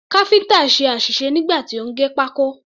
Káfíǹtà ṣe àṣìṣe nígbà tí ó ń gé pákó.